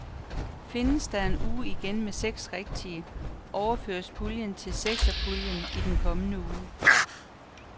Findes der en uge ingen med seks rigtige, overføres puljen til sekserpuljen i den kommende uge.